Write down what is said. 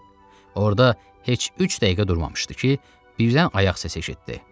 Orda heç üç dəqiqə durmamışdı ki, birdən ayaq səsi eşitdi.